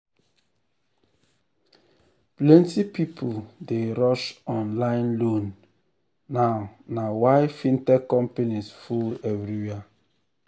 plenty people dey rush online loan now na why fintech companies full everywhere.